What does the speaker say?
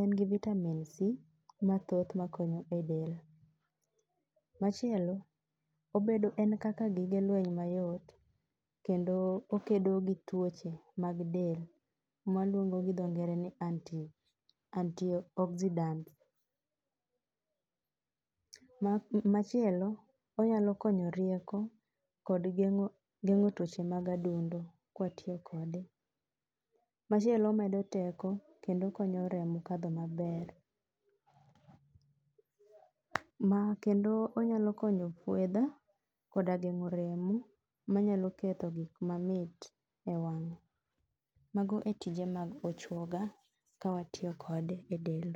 en gi vitamin C mathoth makonyo edel. Machielo en kaka gige lweny mayot kendo okedo gi tuoche mag del ma waluongo gi dho ngere ni antioxidant. Machielo onyalo konyo rieko kod geng'o tuoche mag adundo kwatiyo kode. Machielo omedo teko kendo okonyo remo kadho maber, kendo onyalo konyo kwedha koda geng'o remo manyalo ketho gik mamit ewang'. Mago e tije mag ochuoga kawatiyo kode edel.